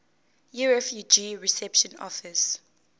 yirefugee reception office